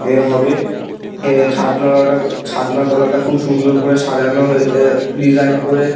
এর হবে এ ছাদনা তলাটা ছাদনা তলাটা খুব সুন্দর করে সাজানো হয়ে এ ডিসাইন করে--